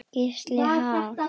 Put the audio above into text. Gísli: Ha?